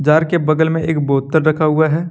Jar के बगल में एक बोतल रखा हुआ है।